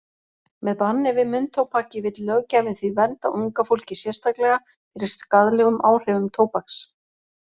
Með banni við munntóbaki vill löggjafinn því vernda unga fólkið sérstaklega fyrir skaðlegum áhrifum tóbaks.